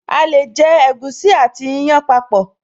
A lè jọ ẹ̀gúsí àti ìyàn papọ̀